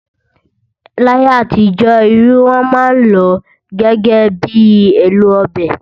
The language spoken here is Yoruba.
Láyé àtijọ́, irú wọ́n máa ń lọ gẹ́gẹ́ bi èlò ọbẹ̀